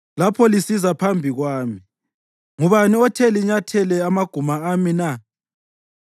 Lapho lisiza phambi kwami, ngubani othe linyathele amaguma ami na?